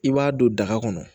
I b'a don daga kɔnɔ